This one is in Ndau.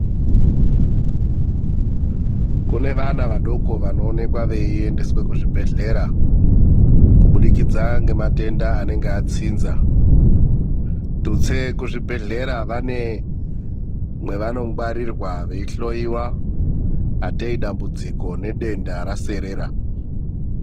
Kune vanavadoko vanoendeswe kuzvibhedhlera kubudikidza nematenda anenge atsinza, tutse kuzvibhedhlera vane mwawanongwarirwa vei hloiwa atee dambudziko nedenda raserera.